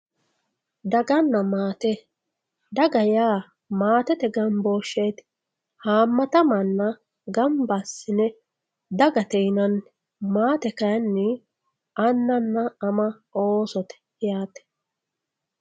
Daganna maate, daga yaa maatete gamboosheti, haamatta manna gamba asinne dagate yinanni, maatte kayinni anana, ama oosote yaate